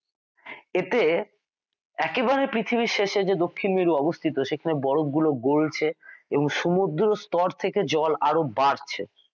এতে একেবারে পৃথিবীর শেষে যে দক্ষিণ মেরু অবস্থিত সেখানে বরফ গুলো গলছে এবং সমুদ্র স্তর থেকে জল আরো বাড়ছে।